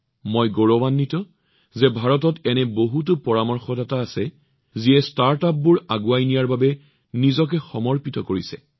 মই গৌৰৱান্বিত যে ভাৰতত বহুতো পৰামৰ্শদাতা আছে যিয়ে ষ্টাৰ্টআপবোৰ আগুৱাই নিয়াৰ বাবে নিজকে সমৰ্পিত কৰিছে